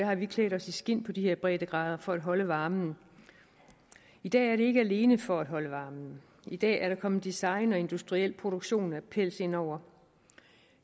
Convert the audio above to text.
har vi klædt os i skind på de her breddegrader for at holde varmen i dag er det ikke alene for at holde varmen i dag er der kommet design og industriel produktion af pels indover